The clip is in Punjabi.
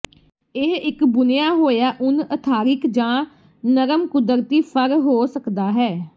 ਇਹ ਇੱਕ ਬੁਣਿਆ ਹੋਇਆ ਉੱਨ ਅਥਾਰਿਕ ਜਾਂ ਨਰਮ ਕੁਦਰਤੀ ਫਰ ਹੋ ਸਕਦਾ ਹੈ